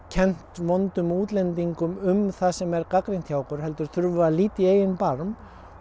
kennt vondum útlendingum um það sem er gagnrýnt hjá okkur heldur verðum við að líta í eigin barm